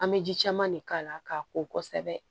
An bɛ ji caman de k'a la k'a ko kosɛbɛ